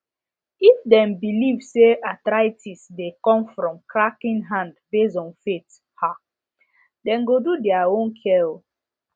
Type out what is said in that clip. if dem believe say arthritis dey come from cracking hand based on faith um dem go do their own care